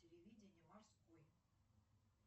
телевидение морской